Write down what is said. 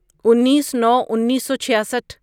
انیس نو انیسو چھیاسٹھ